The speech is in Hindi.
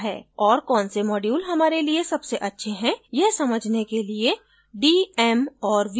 और कौन से module हमारे लिए सबसे अच्छे हैं यह समझने के लिए d m और v को याद रखें